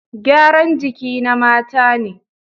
Gyaran jiki na mata ne